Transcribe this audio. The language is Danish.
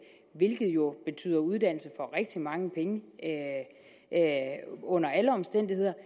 hvilket jo betyder uddannelse for rigtig mange penge under alle omstændigheder